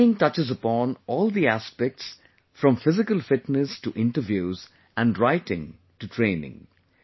The training touches upon all the aspects from physical fitness to interviews and writing to training